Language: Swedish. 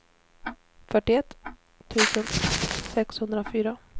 fyrtioett tusen sexhundrafyra